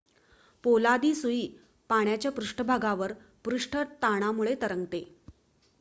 पोलादी सुई पाण्याच्या पृष्ठभागावर पृष्ठ ताणामुळे तरंगते